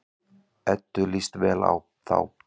Eddu líst vel á þá.